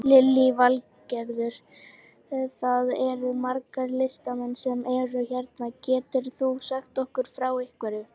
Lillý Valgerður: Það eru margir listamenn sem eru hérna, getur þú sagt okkur frá einhverju?